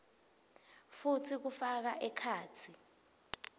futsi kufaka ekhatsi